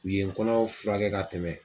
U ye n kɔnɔ fura kɛ ka tɛmɛ.